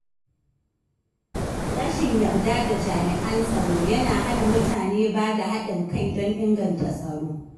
Rashin yarda da jami’an tsaro yana hana mutane bada haɗin kai don inganta tsaro.